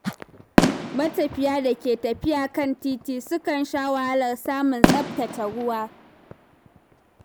Matafiya da ke tafiya kan titi sukan sha wahalar samun tsaftataccen ruwa.